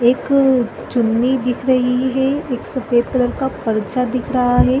एक चुन्नी दिख रही है एक सफ़ेद कलर का परचा दिख रहा है।